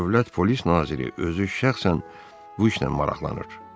Dövlət polis naziri özü şəxsən bu işlə maraqlanır.